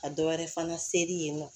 Ka dɔ wɛrɛ fana seri yen nɔ